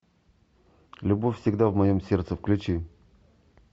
любовь всегда в моем сердце включи